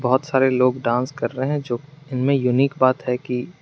बहुत सारे लोग डांस कर रहे हैं जो इनमें यूनिक बात है कि--